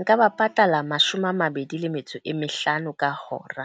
Nka ba patala mashome a mabedi le metso e mehlano ka hora.